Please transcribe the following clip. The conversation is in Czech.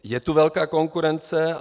Je tu velká konkurence.